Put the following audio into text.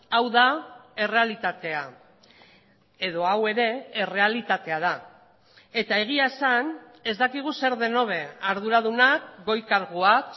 hau da errealitatea edo hau ere errealitatea da eta egia esan ez dakigu zer den hobe arduradunak goi karguak